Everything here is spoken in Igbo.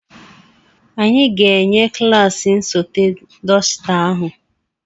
Anyị ga-enye klaasị nsote dọsita ahụ.